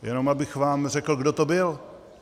Jenom abych vám řekl, kdo to byl.